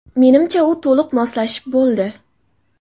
Menimcha, u to‘liq moslashib bo‘ldi.